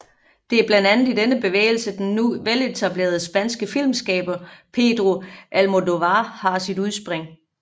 Det er blandt andet i denne bevægelse den nu veletablerede spanske filmskaber Pedro Almodóvar har sit udspring